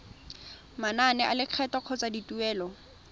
manane a lekgetho kgotsa dituelo